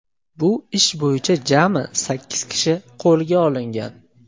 Bu ish bo‘yicha jami sakkiz kishi qo‘lga olingan.